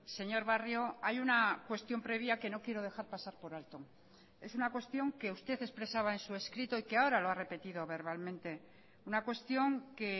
señor barrio hay una cuestión previa que no quiero dejar pasar por alto es una cuestión que usted expresaba en su escrito y que ahora lo ha repetido verbalmente una cuestión que